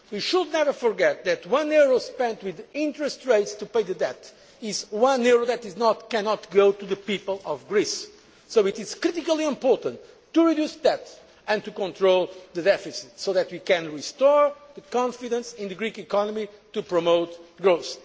is growth. We should never forget that one euro spent on interest rates to pay the debt is one euro that cannot go to the people of Greece, so it is critically important to reduce debt and to control the deficit so that we can restore confidence in the Greek economy, in order to promote